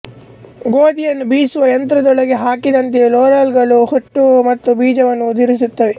ಗೋಧಿಯನ್ನು ಬೀಸುವ ಯಂತ್ರದೊಳಗೆ ಹಾಕಿದಂತೆ ರೋಲರ್ ಗಳು ಹೊಟ್ಟು ಮತ್ತು ಬೀಜವನ್ನು ಉದುರಿಸುತ್ತವೆ